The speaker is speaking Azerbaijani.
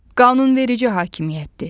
Qanunverici hakimiyyətdir.